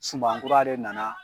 Suban kura de nana